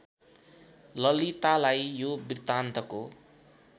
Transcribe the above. ललितालाई यो वृत्तान्तको